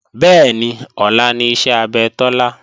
Bẹ́ẹ̀ni, ọlá ni iṣẹ́ abẹ Tọ́lá